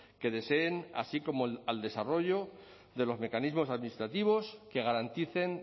que deseen así como al desarrollo de los mecanismos administrativos que garanticen